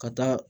Ka taa